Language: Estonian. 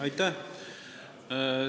Aitäh!